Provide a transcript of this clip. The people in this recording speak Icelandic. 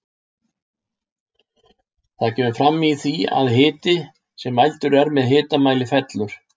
Það kemur fram í því að hiti sem mældur er með hitamæli fellur.